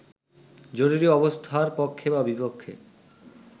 জরুরি অবস্থার পক্ষে বা বিপক্ষে